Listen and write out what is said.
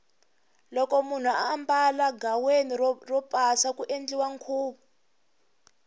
loko munhu ambala ghaweni ro pasa ku endliwa nkhuvu